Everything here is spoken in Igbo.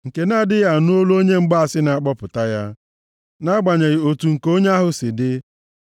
nke na-adịghị anụ olu onye mgbaasị na-akpọpụta ya, nʼagbanyeghị otu ǹka onye ahụ si dị.